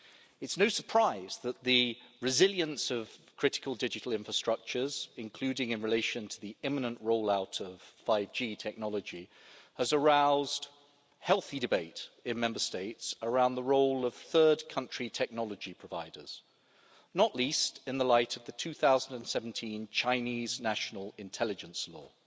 It's no surprise that the resilience of critical digital infrastructures, including in relation to the imminent rollout of 5G technology, has aroused healthy debate in Member States around the role of third country technology providers, not least in the light of the 2017 Chinese National Intelligence Law.